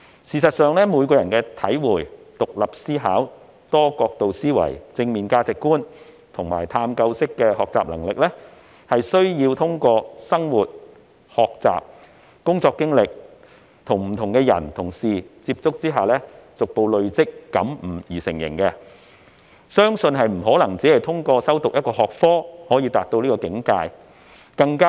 事實上，每個人的體會、獨立思考、多角度思維、正面價值觀及探究式學習能力，是需要通過生活、學習、工作經歷及與不同的人和事接觸後逐步累積和感悟而成，不可能只透過修讀一個學科便達到這個境界。